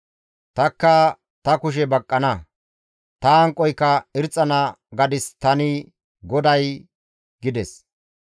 Tanikka ta kushe baqqana; ta hanqoyka irxxana gadis tani GODAY» gides.